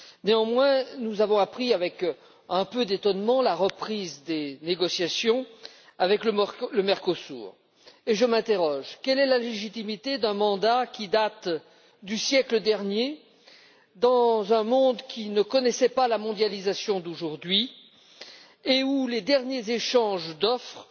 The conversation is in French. Néanmoins, nous avons appris avec un peu d'étonnement, la reprise des négociations avec le Mercosur et je m'interroge quelle est la légitimité d'un mandat qui date du siècle dernier, dans un monde qui ne connaissait pas la mondialisation d'aujourd'hui et où les derniers échanges d'offres